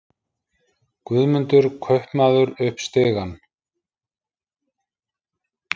Guðmundur kaupmaður upp stigann.